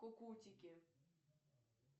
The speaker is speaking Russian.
кукутики